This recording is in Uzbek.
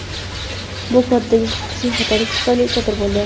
Bu koddagi kichik xatolik tufayli sodir bo‘ldi.